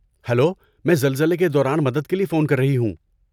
Hello, میں زلزلے کے دوران مدد کے لیے فون کر رہی ہوں۔